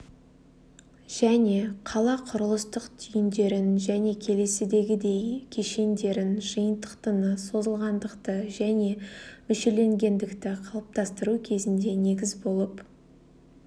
және қала құрылыстық түйіндерін және келесідегідей кешендерін жиынтықтыны созылғандықты және мүшеленгендікті қалыптастыру кезінде негіз болып